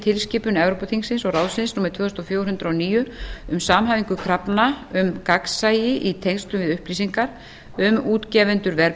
tilskipun evrópuþingsins og ráðsins númer tvö þúsund og fjögur hundrað og níu um samhæfingu krafna um gagnsæi í tengslum við upplýsingar um útgefendur